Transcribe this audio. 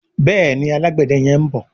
Béèni Alágbède yén bó.